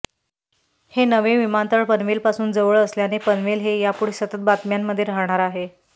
हे नवे विमानतळ पनवेलपासून जवळ असल्याने पनवेल हे यापुढे सतत बातम्यांमध्ये राहणार आहे